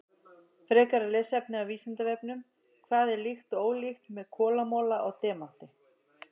Frekara lesefni á Vísindavefnum: Hvað er líkt og ólíkt með kolamola og demanti?